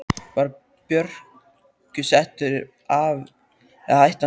Var Börkur settur af eða hætti hann sjálfur?